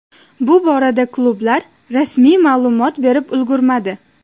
Bu borada klublar rasmiy ma’lumot berib ulgurmadi.